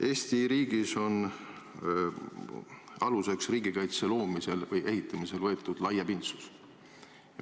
Eesti riigis on riigikaitse loomisel või ehitamisel võetud aluseks laiapindsus.